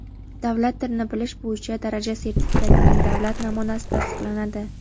davlat tilini bilish bo‘yicha daraja sertifikatining davlat namunasi tasdiqlanadi.